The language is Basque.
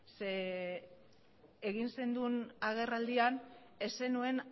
zeren egin zenuen agerraldian ez zenuen